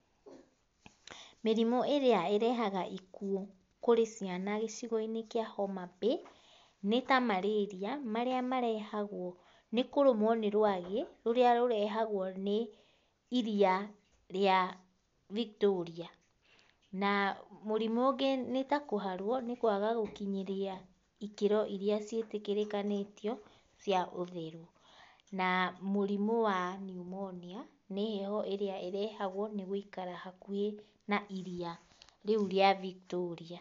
Mĩrimũ ĩrĩa ĩrehaga ikuũ kũrĩ ciana gĩcigo-inĩ kĩa Homabay nĩ ta malaria marĩa marehagwo nĩ kũrũmwo nĩ rwagĩ rũrĩa rũrehagwo nĩ iria rĩa Victoria. Na mũrimũ ũngĩ ni ta kũharwo, nĩ kũaga gũkinyĩria ĩkĩro iria ciĩtĩkĩrĩkanĩtĩo cia ũtheru. Na mũrimũ wa pneumonia, nĩ heho ĩrĩa ĩrehagwo nĩ gũikara hakuhĩ na iria rĩu rĩa Victoria.